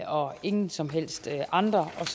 og ingen som helst andre og